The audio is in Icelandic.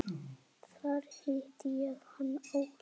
Þar hitti ég hann árið